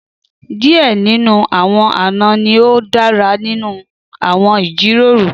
Díẹ̀ nínú àwọn àna ni ó dára nínú àwọn ìjíròrò